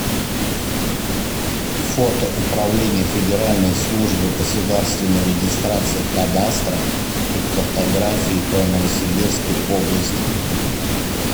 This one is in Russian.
фото управление федеральной службы государственной регистрации кадастра и картографии по новосибирской области